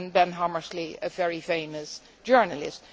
and Ben Hammersley, a very famous journalist.